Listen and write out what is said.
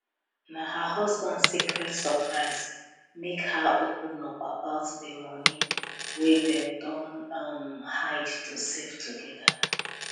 na her husband secret surprise make her open up about the money wey dem don um hide to save together